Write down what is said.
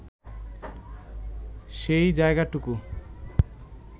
সেই যায়গাটুকু